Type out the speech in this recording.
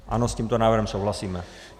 Ano, s tímto návrhem souhlasíme.